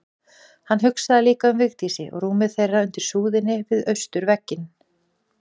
Hann hugsaði líka um Vigdísi og rúmið þeirra undir súðinni við austurvegginn.